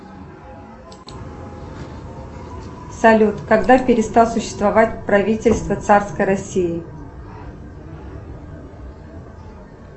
салют когда перестал существовать правительство царской россии